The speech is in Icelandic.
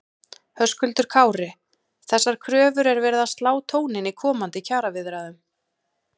Höskuldur Kári: Þessar kröfur er verið að slá tóninn í komandi kjaraviðræðum?